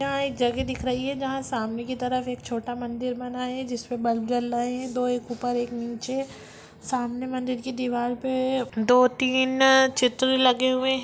यहां एक जगह दिख रही है जहां सामने की तरफ एक छोटा मंदिर बना है जिसमें बल्ब जल रहे हैं दो एक ऊपर एक नीचे सामने मंदिर की दीवार पे दो-तीन चित्र लगे हुए हैं।